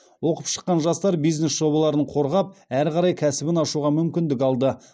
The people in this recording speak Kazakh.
оқып шыққан жастар бизнес жобаларын қорғап әрі қарай кәсібін ашуға мүмкіндік алды